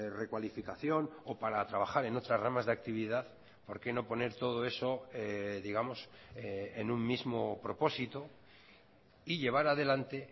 recualificación o para trabajar en otras ramas de actividad por qué no poner todo eso digamos en un mismo propósito y llevar adelante